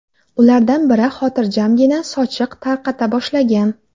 Ulardan biri xotirjamgina sochiq tarqata boshlagan.